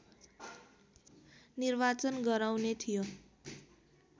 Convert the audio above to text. निर्वाचन गराउने थियो